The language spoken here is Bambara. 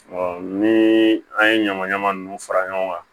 ni an ye ɲama ɲaman nunnu fara ɲɔgɔn kan